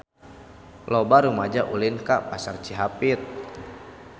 Loba rumaja ulin ka Pasar Cihapit